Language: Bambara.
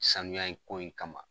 Sanuya ko in kama.